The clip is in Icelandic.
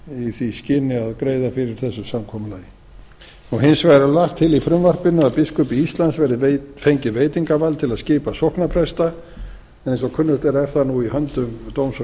í því skyni að greiða fyrir þessu samkomulagi hins vegar er lagt til í frumvarpinu að biskupi íslands verði fengið veitingarvald til að skipa sóknarpresta eins og kunnugt er er það nú í höndum dóms